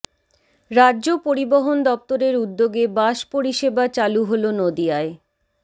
রাজ্য পরিবহন দপ্তরের উদ্যোগে বাস পরিষেবা চালু হল নদীয়ায়